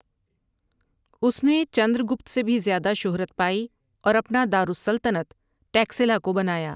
اُس نے چندر گُپت سے بھی زیادہ شہرت پائی اور اپنا دارالسلطنت ٹیکسلا کو بنایا ۔